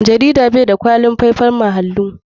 Jarida bai da kwalitin faifan majalu.